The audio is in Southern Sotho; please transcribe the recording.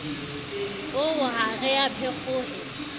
oo ha re a phekgohe